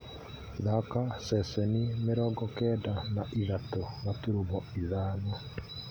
thaaka ceceni mĩrongo kenda na ithatũ gaturumo ithano